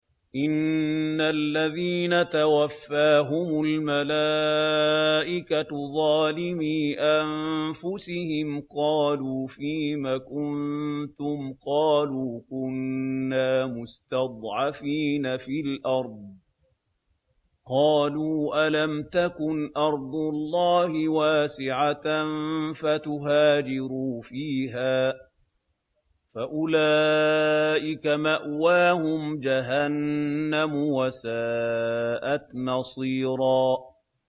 إِنَّ الَّذِينَ تَوَفَّاهُمُ الْمَلَائِكَةُ ظَالِمِي أَنفُسِهِمْ قَالُوا فِيمَ كُنتُمْ ۖ قَالُوا كُنَّا مُسْتَضْعَفِينَ فِي الْأَرْضِ ۚ قَالُوا أَلَمْ تَكُنْ أَرْضُ اللَّهِ وَاسِعَةً فَتُهَاجِرُوا فِيهَا ۚ فَأُولَٰئِكَ مَأْوَاهُمْ جَهَنَّمُ ۖ وَسَاءَتْ مَصِيرًا